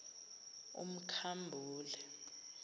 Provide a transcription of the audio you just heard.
umkhambule